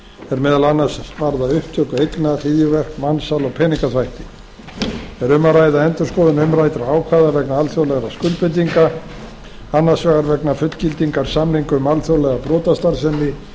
er meðal annars varða upptöku eigna hryðjuverk mansal og peningaþvætti er um að ræða endurskoðun umræddra ákvæða vegna alþjóðlegra skuldbindinga annars vegna fullgildingar samnings um alþjóðlega brotastarfsemi